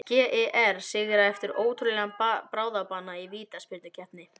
GER sigra eftir ótrúlegan bráðabana í vítaspyrnukeppni!